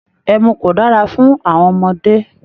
Ẹmu kò dára fun àwọn ọmọdé